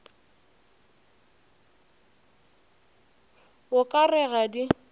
o ka re ga di